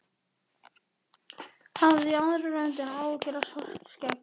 Hafði í aðra röndina áhyggjur af Svartskegg.